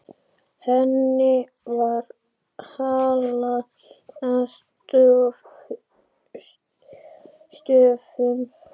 Henni var hallað að stöfum.